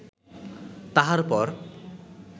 তাহার পর